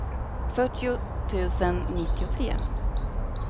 fyrtio tusen nittiotre